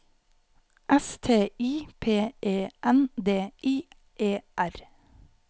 S T I P E N D I E R